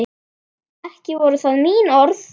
Ekki voru það mín orð!